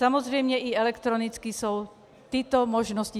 Samozřejmě i elektronicky jsou tyto možnosti.